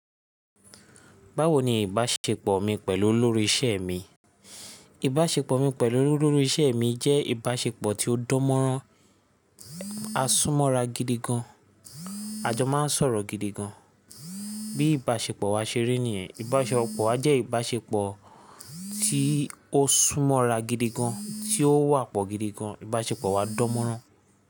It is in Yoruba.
Báwo ni ìbáṣepọ̀ mi pẹ̀lú olórí ìṣe mi? Ìbáṣepọ̀ mi pẹ̀lú olórí ìṣe mi jẹ́ ìbáṣepọ̀ tí ó dán mọ́rán, a sún mọ́ra gidigan, a jọ máa ń sọ̀rọ̀ gidigan. Bí ìbáṣepọ̀ wa ṣe rí nìyẹn, ìbáṣepọ̀ wa jẹ́ ìbáṣepọ̀ tí ó sún mọ́ra gidigan, tí ó wà pọ̀ gidigan, ìbáṣepọ̀ wa dán mọ́rán.